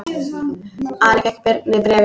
Ari fékk Birni bréfin.